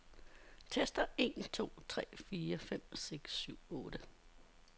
Tester en to tre fire fem seks syv otte.